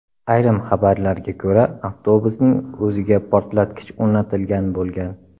Ayrim xabarlarga ko‘ra, avtobusning o‘ziga portlatkich o‘rnatilgan bo‘lgan.